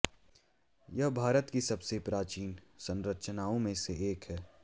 यह भारत की सबसे प्राचीन संरचनाओं में से एक है